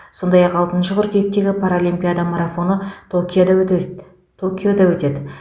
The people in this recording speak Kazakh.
сондай ақ алтыншы қыркүйектегі паралимпиада марафоны токиода өтелді токиода өтеді